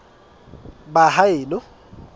baheno